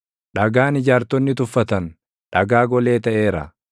Dhagaan ijaartonni tuffatan, dhagaa golee taʼeera;